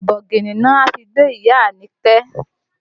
Ọkọ̀ bọ̀gìnì ni wọ́n wá fi gbé ìyá Àyìnkẹ́